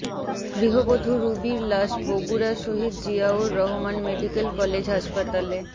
গৃহবধূ রুবির লাশ বগুড়া শহীদ জিয়াউর রহমান মেডিকেল কলেজ হাসপাতালে